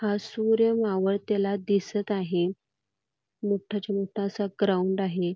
हा सूर्य मावळलेला दिसत आहे मोठाच्या मोठा असा ग्राउंड आहे.